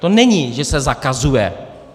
To není, že se zakazuje.